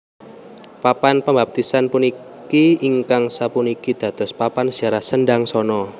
Papan pambaptisan puniki ingkang sapuniki dados papan ziarah Sendangsono